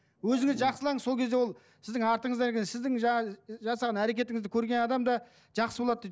өзіңіз жақсылаңыз сол кезде ол сіздің артыңыздан ерген сіздің жаңағы ы жасаған әрекетіңізді көрген адам да жақсы болады дейді